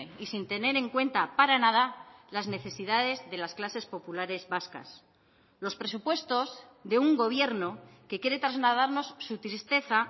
y sin tener en cuenta para nada las necesidades de las clases populares vascas los presupuestos de un gobierno que quiere trasladarnos su tristeza